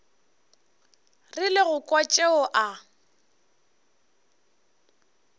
rile go kwa tšeo a